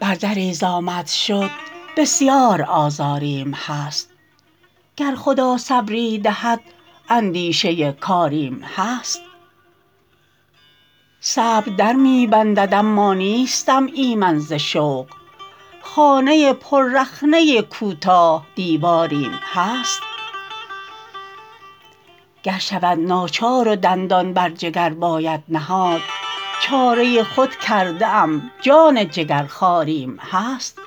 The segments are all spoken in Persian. بردری ز آمد شد بسیار آزاریم هست گر خدا صبری دهد اندیشه کاریم هست صبر در می بندند اما نیستم ایمن ز شوق خانه پر رخنه کوتاه دیواریم هست گر شود ناچار و دندان بر جگر باید نهاد چاره خود کرده ام جان جگر خواریم هست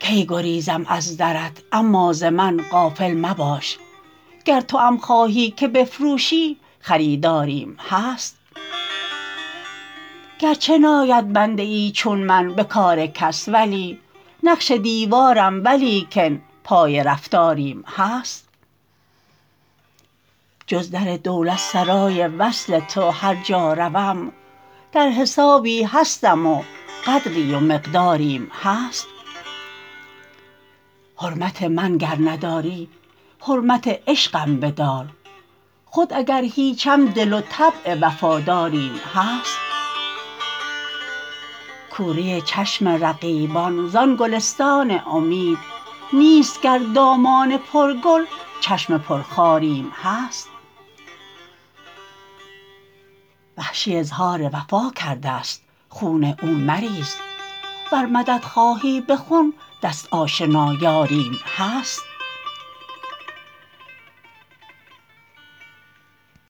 کی گریزم از درت اما ز من غافل مباش گر توام خواهی که بفروشی خریداریم هست گرچه ناید بنده ای چون من به کار کس ولی نقش دیوارم ولیکن پای رفتاریم هست جز در دولتسرای وصل تو هر جا روم در حسابی هستم و قدری و مقداریم هست حرمت من گر نداری حرمت عشقم بدار خود اگر هیچم دل و طبع وفا داریم هست کوری چشم رقیبان زان گلستان امید نیست گر دامان پر گل چشم پرخاریم هست وحشی اظهار وفا کردست خون او مریز ور مدد خواهی به خون دست آشنا یاریم هست